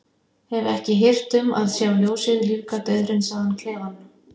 Hef ekki hirt um að sjá ljósið lífga dauðhreinsaðan klefann.